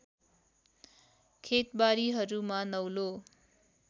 खेतबारीहरूमा नौलो